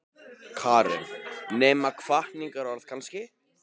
Karen: Nema hvatningarorð kannski?